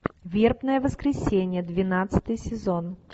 вербное воскресенье двенадцатый сезон